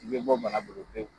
I be bɔ bana bolo pewu.